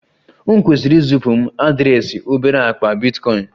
M kwesịrị izipu m adreesị obere akpa bitcoin?